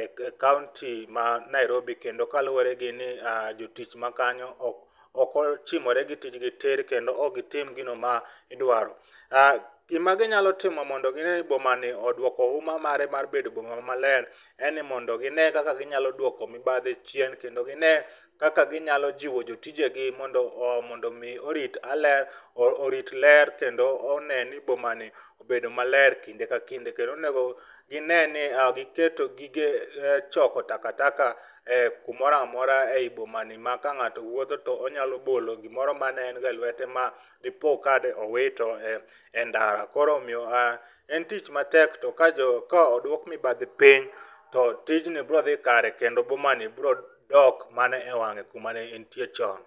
e kaunti ma Nairobi kendo kaluore ni jotich makanyo ok ochimore gi tijni tir kendo ok gitim gino ma idwaro. Gima ginya timo mondo bomani oduoko huma mare mar bedo boma maler en ni mondo ginee kaka ginyalo duoko mibadhi chien kendo ginee kaka ginyalo jiwo jotije gi mondo ,mondo mi orit ler kendo oneni bomani obedo maler kinde ka kinde. Kendo onego gine ni giketo gige choko taka taka ee kumoro amora. ei bomani ma ka ngato wuotho to onyalo bolo gimoro mane en go e lwete ma dipioka nowito e ndara. Koro omiyo aah, en tich matek to ka jo, ka oduok mibadhi piny to tijni biro dhi kare kendo bomani biro dok mana e wang'e kumane entie chon